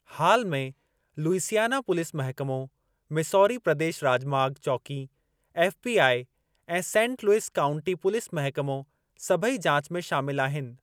हाल में, Louisiana police महकमो, Missouri प्रदेशु राॼमाॻ चौंकी, एफ.बी.आई., ऐं सेंट लुइस काउंटी पुलिस महिकमो, सभेई जाचु में शामिलु आहिनि।